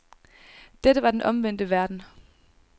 Dette var den omvendte verden.